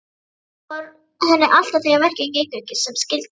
Þannig fór henni alltaf þegar verkin gengu ekki sem skyldi.